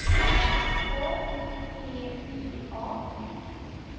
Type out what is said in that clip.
K O P I A